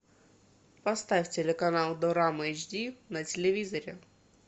поставь телеканал дорама эйч ди на телевизоре